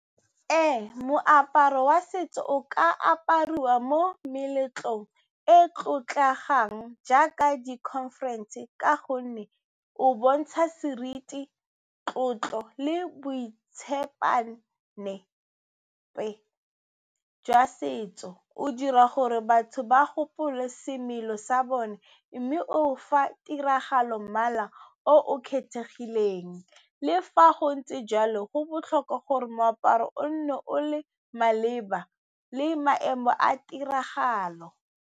Ee, moaparo wa setso o ka apariwa mo meletlong e e tlotlegang jaaka di-conference ka gonne o bontsha seriti, tlotlo le boitshepane jwa setso. O dira gore batho ba gopole semelo sa bone mme o fa tiragalo mmala o kgethegileng. Le fa go ntse jalo, go botlhokwa gore moaparo o nne o le maleba le maemo a tiragalo.